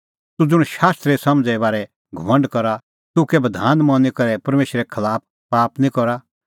तूह ज़ुंण शास्त्रे समझ़णें बारै दी घमंड करा तूह कै बधान नांईं मनी करै परमेशरे खलाफ पाप निं करा